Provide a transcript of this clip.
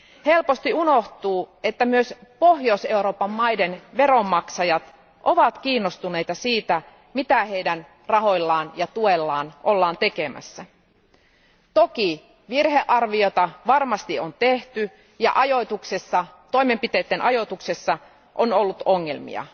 Helposti unohtuu, että myös Pohjois Euroopan maiden veronmaksajat ovat kiinnostuneita siitä, mitä heidän rahoillaan ja tuellaan ollaan tekemässä. Toki virhearviota varmasti on tehty ja toimenpiteiden ajoituksessa on ollut ongelmia.